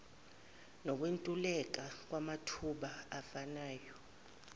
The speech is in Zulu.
nokwentuleka kwamathuba afanayo